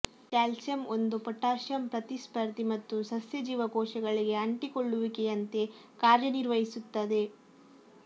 calcium ಒಂದು potassium ಪ್ರತಿಸ್ಪರ್ಧಿ ಮತ್ತು ಸಸ್ಯ ಜೀವಕೋಶಗಳಿಗೆ ಅಂಟಿಕೊಳ್ಳುವಿಕೆಯಂತೆ ಕಾರ್ಯನಿರ್ವಹಿಸುತ್ತದೆ